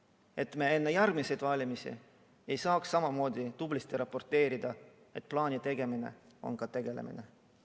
Nii et me peaks enne järgmisi valimisi samamoodi tublisti raporteerima, et plaani tegemine on ka asjaga tegelemine.